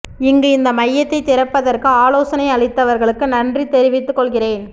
இங்கு இந்த மையத்தை திறப்பதற்கு ஆலோசனை அளித்தவா்களுக்கு நன்றி தெரிவித்துக் கொள்கிறேறன்